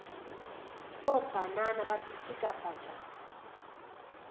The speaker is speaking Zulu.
kobhanana bapitshika patsha